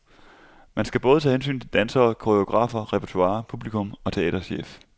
Man skal både tage hensyn til dansere, koreografer, repertoire, publikum og teaterchef.